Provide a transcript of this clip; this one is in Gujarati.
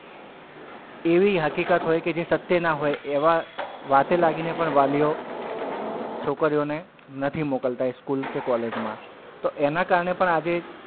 એવી હકીકત હોય કે જે સત્ય નાં હોય એવાં વાતે લાગીને પણ વાલીઓ છોકરીઓને નથી મુક્લતા એ school કે college માં તો એનાં કારણે પણ આજે,